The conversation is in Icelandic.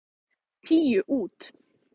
Tíu út.